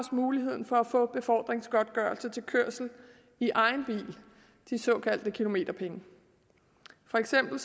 muligheden for at få befordringsgodtgørelse til kørsel i egen bil de såkaldte kilometerpenge for eksempel